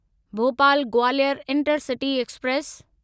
Bhopal Gwalior intercity express